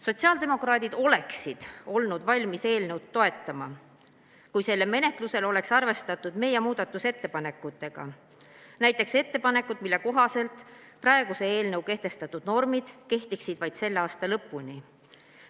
" Sotsiaaldemokraadid oleksid olnud valmis eelnõu toetama, kui selle menetlusel oleks arvestatud meie muudatusettepanekuid, näiteks ettepanekut, mille kohaselt praeguse eelnõu kehtestatud normid kehtiksid vaid selle aasta lõpuni.